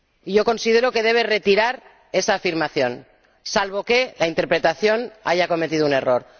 Yo considero que debe retirar esa afirmación, salvo que la interpretación haya cometido un error.